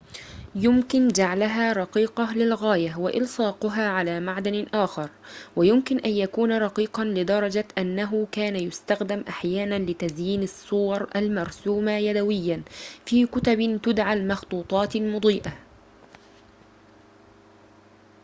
يمكن جعلها رقيقة للغاية وإلصاقها على معدن آخر ويمكن أن يكون رقيقاً لدرجة أنه كان يستخدم أحياناً لتزيين الصور المرسومة يدوياً في كتبٍ تدعى المخطوطات المضيئة